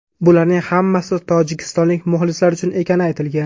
Bularning hammasi tojikistonlik muxlislar uchun ekani aytilgan.